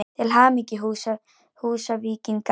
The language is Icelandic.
Til hamingju Húsvíkingar!!